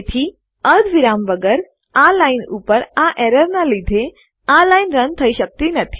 તેથી અર્ધવિરામ વગર આ લાઈન ઉપર આ એરર નાં લીધે આ લાઈન રન થઇ શકતી નથી